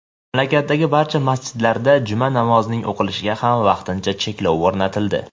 mamlakatdagi barcha masjidlarda juma namozining o‘qilishiga ham vaqtincha cheklov o‘rnatildi.